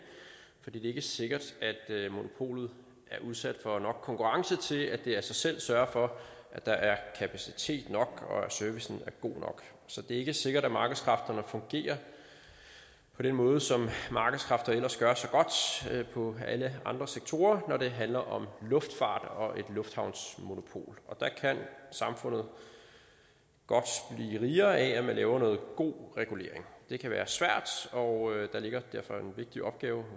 fordi det ikke er sikkert at monopolet er udsat for nok konkurrence til at det af sig selv sørger for at der er kapacitet nok og at servicen er god nok så det er ikke sikkert at markedskræfterne fungerer på den måde som markedskræfter ellers gør så godt på alle andre sektorer når det handler om luftfart og et lufthavnsmonopol der kan samfundet godt blive rigere af at man laver noget god regulering det kan være svært og der ligger derfor en vigtig opgave